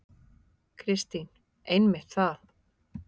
Kristín: Einmitt það.